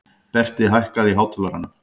Berti, hækkaðu í hátalaranum.